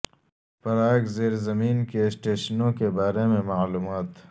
Prague زیر زمین کے اسٹیشنوں کے بارے میں معلومات